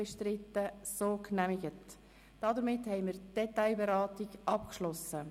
Somit haben wir die Detailberatung abgeschlossen.